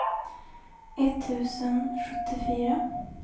etttusen sjuttiofyra